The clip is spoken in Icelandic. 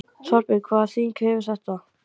Þorbjörn, hvaða þýðingu hefur þetta?